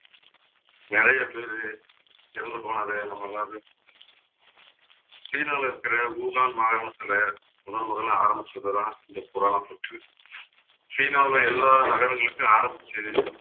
நிறைய பேரு இறந்து போனதை நம்ம எல்லாரும் சீனாவிலே இருக்கிற வுஹான் மாகாணத்திலே முதன் முதலிலே ஆரம்பிச்சதுதான் இந்த corona தொற்று சீனாவுல எல்லா நகரங்களுக்கும் ஆரம்பிச்சது